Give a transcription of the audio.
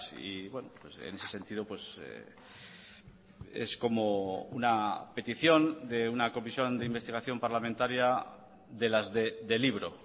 y en ese sentido es como una petición de una comisión de investigación parlamentaria de las de libro